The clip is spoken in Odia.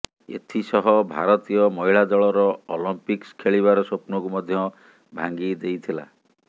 ଏଥିସହ ଭାରତୀୟ ମହିଳା ଦଳର ଅଲିମ୍ପିକ୍ସ ଖେଳିବାର ସ୍ୱପ୍ନକୁ ମଧ୍ୟ ଭାଙ୍ଗି ଦେଇଥିଲା